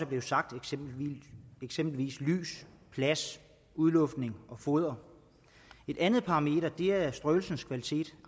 blevet sagt eksempelvis lys plads udluftning og foder et andet parameter er strøelsens kvalitet